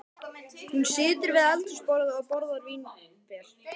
Hún situr við eldhúsborðið og borðar vínber.